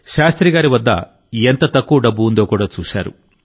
శాస్త్రి గారి వద్ద ఎంత తక్కువ డబ్బు ఉందో కూడా చూశారు